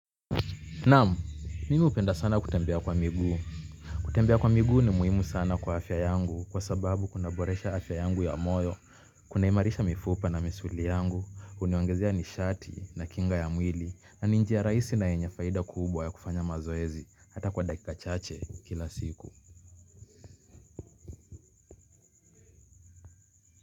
Nam, mimi hupenda sana kutembea kwa miguu. Kutembea kwa miguu ni muhimu sana kwa afya yangu kwa sababu kuna boresha afya yangu ya moyo. Kuna imarisha mifupa na misuli yangu, huniongezea nishati na kinga ya mwili, na ni njia rahisi na yenye faida kubwa ya kufanya mazoezi hata kwa dakika chache kila siku.